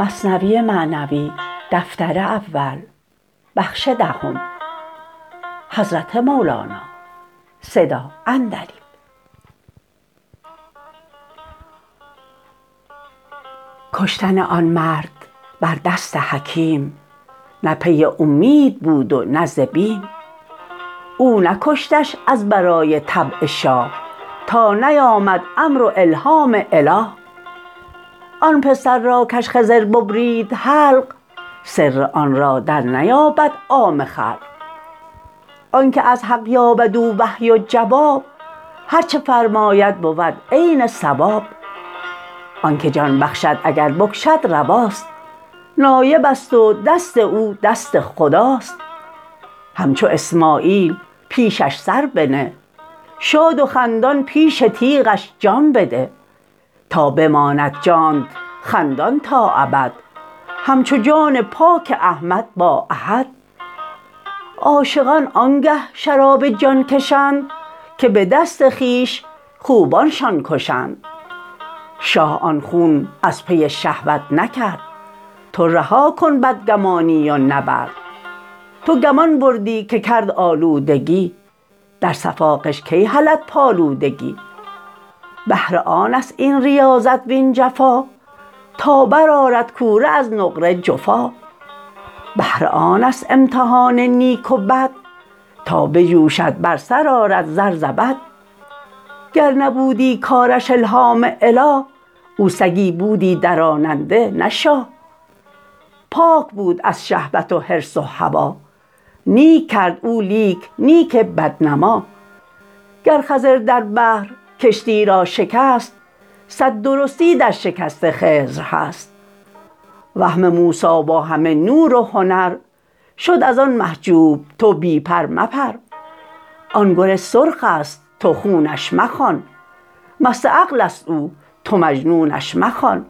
کشتن آن مرد بر دست حکیم نه پی اومید بود و نه ز بیم او نکشتش از برای طبع شاه تا نیامد امر و الهام اله آن پسر را کش خضر ببرید حلق سر آن را در نیابد عام خلق آنک از حق یابد او وحی و جواب هرچه فرماید بود عین صواب آنک جان بخشد اگر بکشد رواست نایبست و دست او دست خداست همچو اسماعیل پیشش سر بنه شاد و خندان پیش تیغش جان بده تا بماند جانت خندان تا ابد همچو جان پاک احمد با احد عاشقان آنگه شراب جان کشند که به دست خویش خوبانشان کشند شاه آن خون از پی شهوت نکرد تو رها کن بدگمانی و نبرد تو گمان بردی که کرد آلودگی در صفا غش کی هلد پالودگی بهر آنست این ریاضت وین جفا تا بر آرد کوره از نقره جفا بهر آنست امتحان نیک و بد تا بجوشد بر سر آرد زر زبد گر نبودی کارش الهام اله او سگی بودی دراننده نه شاه پاک بود از شهوت و حرص و هوا نیک کرد او لیک نیک بد نما گر خضر در بحر کشتی را شکست صد درستی در شکست خضر هست وهم موسی با همه نور و هنر شد از آن محجوب تو بی پر مپر آن گل سرخست تو خونش مخوان مست عقلست او تو مجنونش مخوان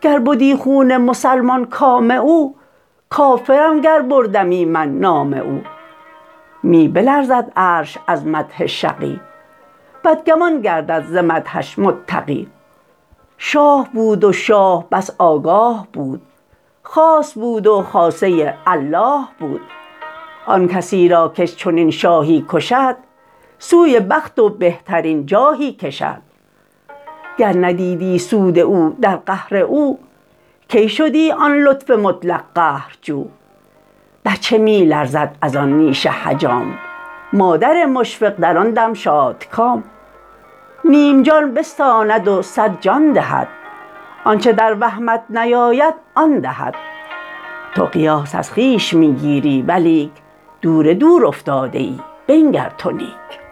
گر بدی خون مسلمان کام او کافرم گر بردمی من نام او می بلرزد عرش از مدح شقی بدگمان گردد ز مدحش متقی شاه بود و شاه بس آگاه بود خاص بود و خاصه الله بود آن کسی را کش چنین شاهی کشد سوی بخت و بهترین جاهی کشد گر ندیدی سود او در قهر او کی شدی آن لطف مطلق قهرجو بچه می لرزد از آن نیش حجام مادر مشفق در آن دم شادکام نیم جان بستاند و صد جان دهد آنچ در وهمت نیاید آن دهد تو قیاس از خویش می گیری ولیک دور دور افتاده ای بنگر تو نیک